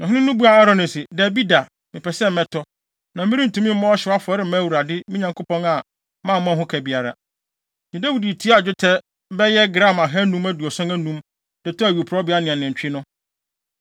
Na ɔhene no buaa Arauna se, “Dabi da, mepɛ sɛ mɛtɔ, na merentumi mmɔ ɔhyew afɔre mma Awurade, me Nyankopɔn, a mammɔ ho ka biara.” Enti Dawid tuaa dwetɛ bɛyɛ gram ahannum aduoson anum (575) de tɔɔ awiporowbea ne nantwi no.